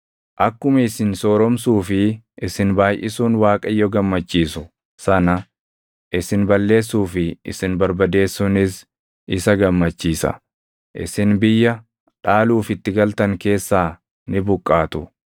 Akkuma isin sooromsuu fi isin baayʼisuun Waaqayyo gammachiisu sana isin balleessuu fi isin barbadeessuunis isa gammachiisa. Isin biyya dhaaluuf itti galtan keessaa ni buqqaatu.